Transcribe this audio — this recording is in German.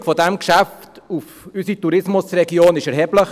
Die Wirkung dieses Geschäfts auf unsere Tourismusregion ist erheblich.